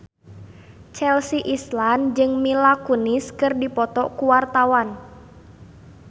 Chelsea Islan jeung Mila Kunis keur dipoto ku wartawan